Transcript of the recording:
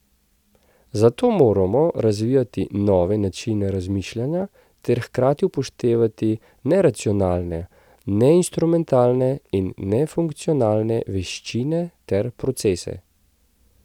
Zato moramo razvijati nove načine razmišljanja ter hkrati upoštevati neracionalne, neinstrumentalne in nefunkcionalne veščine ter procese.